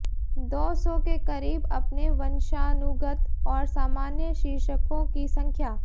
दो सौ के करीब अपने वंशानुगत और सामान्य शीर्षकों की संख्या